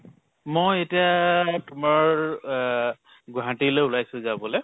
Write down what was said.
মই এতিয়া তোমাৰ আহ গুৱাহাটীলৈ ওলাইছো যাবলে।